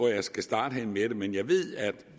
jeg skal starte men jeg ved at